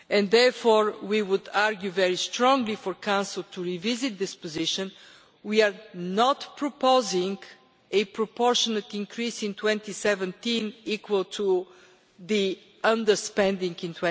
Therefore we would argue very strongly for the Council to revisit this position. We are not proposing a proportionate increase in 2017 equal to the underspending in